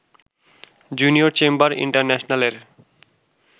junior chamber ইন্টারন্যাশনালের